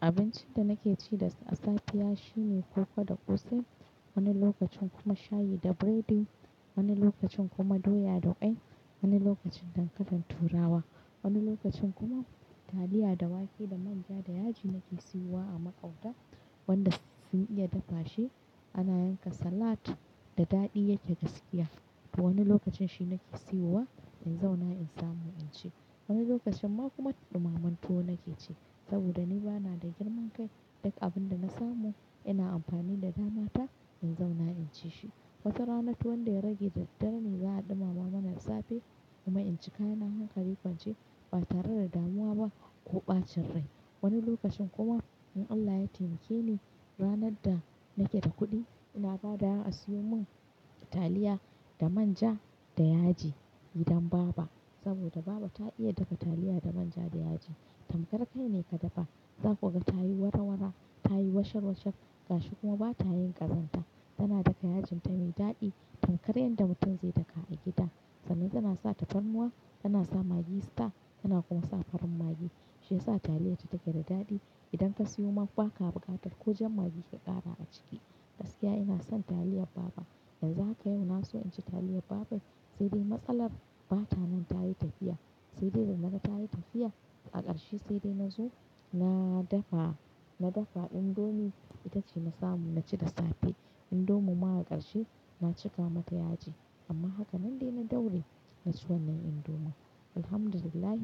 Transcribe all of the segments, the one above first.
Abincin da nake ci da safe ya shi ne koko da ƙosai, wani lokacin kuma shayi da biredi, wani lokacin kuma doya da ƙwai, wani lokacin dankalin turawa, wani lokacin kuma taliya da wake da manja da yaji nake siyowa a maƙwabta wanda sun iya dafa shi. Ana yanka salad da daɗi yake gaskiya. To wani lokacin shi nake siyowa in zauna in samu in ci. Wani lokacin ma kuma ɗumamen tuwo nake ci saboda ni bana da girman kai, duk abin da na samu ina amfani da damata in zauna in ci shi. Wata rana tuwon da ya rage daddare ne za a ɗumama mana da safe kuma in ci kayana hankali kwance ba tare da damuwa ba ko ɓacin rai. Wani lokacin kuma in Allah ya taimake ni ranar da nake da kuɗi ina ba dawa a siyo mun taliya da manja da yaji gidan baba saboda baba ta iya dafa taliya da manja da yaji. Tamkar kai ne ka dafa, za ku ga ta yi wara-wara, ta yi washar-washar gashi kuma ba ta yin ƙazanta. Tana dafa yajinta mai daɗi tamkar yadda mutum zai daka a gida, sannan tana sa tafarnuwa, tana sa maggi star, tana kuma sa farin maggi shi yasa taliyarta take da daɗi. Idan ka siyo man baka abuƙatar ko jan maggi ka ƙara a ciki. Gaskiya ina son taliyar baba. Yanzu haka yau na so in ci taliyar baba, sai dai matsalar ba ta nan ta yi tafiya. Sai dai da na ga ta yi tafiya, a ƙarshe sai dai na zo na dafa, na dafa indomie ita ce na samu na ci da safe. Indomie ma a ƙarshe na cika mata yaji, amma haka nan dai na daure na ci wannan indomie. Alhamdulillah,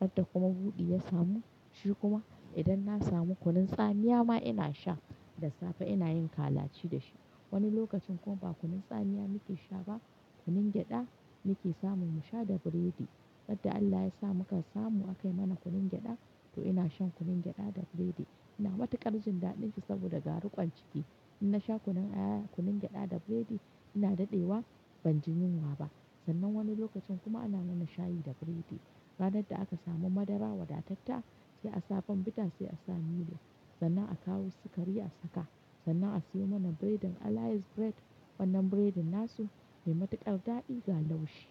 yadda kuma buɗi ya samu, shi kuma idan na samu kunun tsamiya ma ina sha, da safe ina yin kalaci da shi. Wani lokacin kuma ba kunun tsamiya muke sha ba, kunun gyaɗa muke samu mu sha da biredi. Ran da Allah yasa muka samu a kayi mana kunun gyaɗa, to ina shan kunun gyada da buredi ina matuƙar jin daɗinshi saboda ga riƙon ciki in na sha kunun aya, kunun gyaɗa da buredi, ina daɗewa ban ji yunwa ba sannan wani lokacin kuma ana mana shayi da biredi. Ranar da aka samu madara wadatatta sai a bournvita sai a sa milo, sannan a kawo sukari a saka, sannan a siyo mana buredin Alice bread wannan buredin nasu mai matuƙar daɗi ga laushi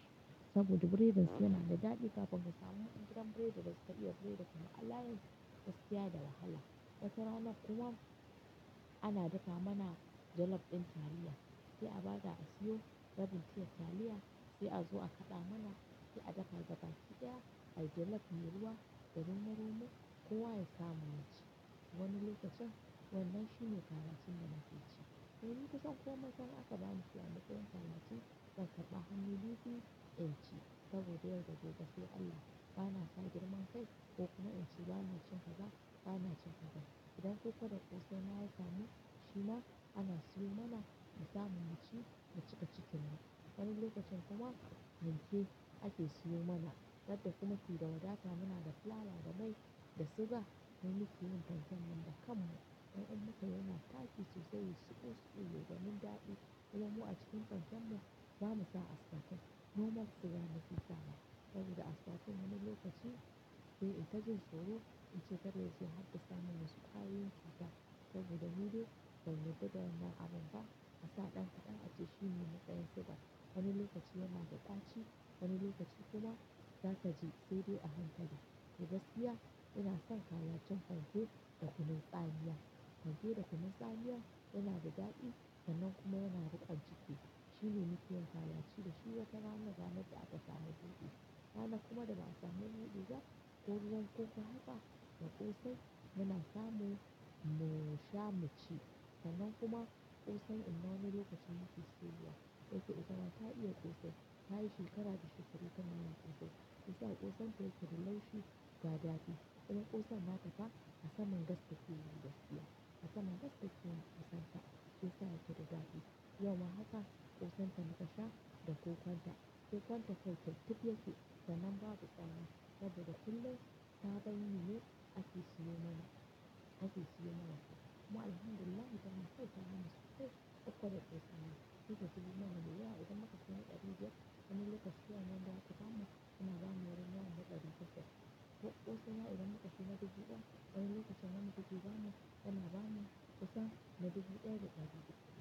saboda biredin su yana da daɗi, kafin ka samu gidan biredin da suka iya biredin kaman Alliance, gaskiya da wahala. Wata rana kuma ana dafa mana jollof ɗin taliya, sai a ba da a siyo rabin tiyar taliya, sai a zo a kaɗa mana, sai a dafa gaba ƙi ɗaya, ai jollof mai ruwa, da romo-romo, kowa ya samu ya ci. Wani lokacin wannan shine kalacin da nake ci. To ni kusan komai fa in aka ba ni shi a matsayin kalaci, zan karɓa hannu bibbiyu in ci saboda yau da gobe sai Allah bana sa girman kai, ko kuma in ce bana cin kaza, bana cin kaza. Idan koko da ƙosai ma ya samu, shi ma ana siyo mana mu samu mu ci, mu cika cikin mu. Wani lokacin kuma fanke ake siyo mana, ran da kuma muke da wadata muna da fulawa da mai da suga, mu muke yin fanken nan da kanmu. Dan in muka yi yana tashi sosai yayi suɓul suɓul yayi gwanin daɗi. Sai dai mu a cikin fanken mu, bamu sa asfatan, nomal sugar muke sawa, saboda asfatan wani lokacin sai in ta jin tsoro in ce kar yazo ya haddasa mana su ƙwayoyin cuta saboda mu dai dlba mu yarda da wannan abun ba, a sa ɗan kaɗan ace shi ne matsayin suga. Wani lokacin yana da ɗaci, wani lokacin kuma zaka ji sai dai a hakali. To gaskiya ina son kalacin fanke da kunun tsamiya. Fanke da kunun tsamiya yana da daɗi sannan kuma yana riƙon jiki. Shine nafi yin kalaci da shi, wata ranan, ranar da aka samu buɗi. Ranar kuma da ba a samu buɗi ba, ko ruwan koko haka da ƙosai muna samu mu sha mu ci. Sannan kuma ƙosai ina min lokacin yake soyawa. Da yake ita ma ta iya ƙosai, ta yi shekara da shekaru tana yin ƙosan. Shi yasa ƙosan ta yake da laushi ga daɗi. Ita ƙosan nata ma a sama gas take yi gaskiya. A saman gas take yi kosan ta, shi yasa yake da daɗi. Yau ma haka ƙosan ta muka sha da koƙanta. Kokon ta kokin tafi ya ke sannan babu tsami, saboda kullum sabon yi ne ake siyo mana, ake siyo mana shi. Mu alhamdulillah zamu ce ta mana safe, koko da ƙosai ma. Hita zube mana ruwa idan muka sani a buɗe. Wani lokacin anan ba a tufa mu ina bani wayar na haɗa rufe. Ko ƙosan ma idan muka shiga buɗe ba wani lokacin ana tafi ba mu ana bani ƙosan na bugi ɗaya da ɗaya.